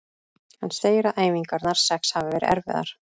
Hann segir að æfingarnar sex hafi verið erfiðar.